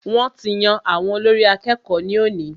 Wọ́n ti yan àwọn olórí àkẹ́kọ̀ọ ní òní.